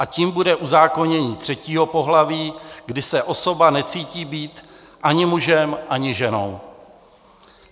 A tím bude uzákonění třetího pohlaví, kdy se osoba necítí být ani mužem, ani ženou.